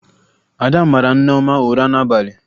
Ada mara Nneọma ụra n'abalị